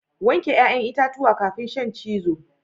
Wanke 'ya'yan itatuwa kafin shan cizo